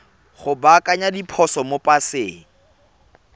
go baakanya diphoso mo paseng